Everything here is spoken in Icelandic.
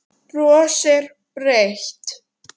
Brosir breitt.